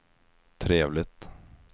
trevligt